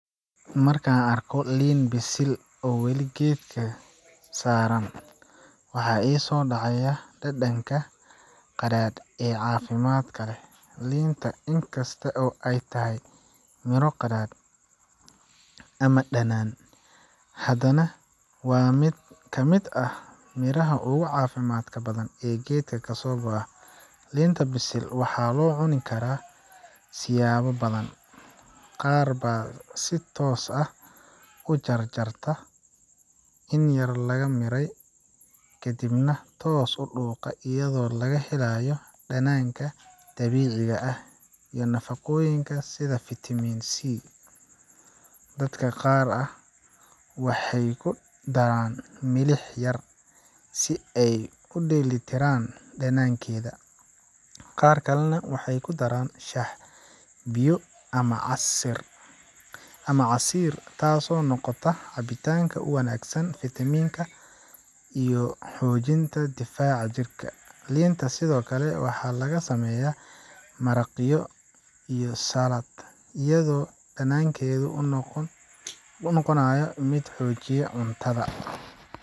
Marka aan arko liin bisil oo weli geedka saran, waxaa i soo dhacaya dhadhanka qadhaadh ee caafimaadka leh. Liinta, in kasta oo ay tahay miro qadhaadh ama dhanaan, haddana waa mid ka mid ah miraha ugu caafimaadka badan ee geedka kasoo go’a. Liinta bisil waxaa loo cuni karaa siyaabo badan. Qaar baa si toos ah u jarjarta, inyaar laga miiray, kadibna toos u dhuuqa iyadoo laga helayo dhadhanka dabiiciga ah iyo nafaqooyinka sida vitamin C. Dadka qaar waxay ku daraan milix yar si ay u dheellitiraan dhadhankeeda. Qaar kalena waxay ku daraan shaah, biyo ama casiir, taas oo noqota cabitaan u wanaagsan vitamin iyo xoojinta difaaca jirka. Liinta sidoo kale waxaa laga sameeyaa maraqyo iyo salaad, iyadoo dhadhankeeda u noqonayo mid xoojiya cuntada.